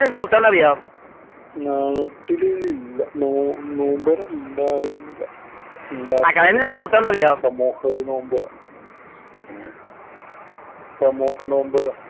നാട്ടില് ഇല്ല. നോമ്പുതുറ ഉണ്ടായിരുന്നില്ല. ഉണ്ടായിട്ടുണ്ട്. സമൂഹ ഒരു നോമ്പുതുറ. സമൂഹ നോമ്പുതുറ.